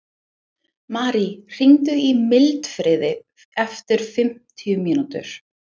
Marí, hringdu í Mildfríði eftir fimmtíu mínútur.